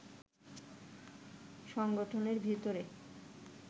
সংগঠনের ভেতরে